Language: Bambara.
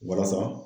Walasa